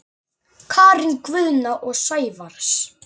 Karen Guðna og Sævars